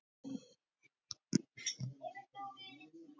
Ríkur þáttur í þjálfun geimfara hjá NASA voru jarðfræðirannsóknir.